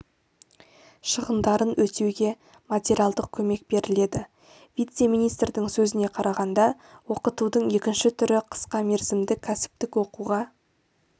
шығындарын өтеуге материалдық көмек беріледі вице-министрдің сөзіне қарағанда оқытудың екінші түрі қысқа мерзімді кәсіптік оқуға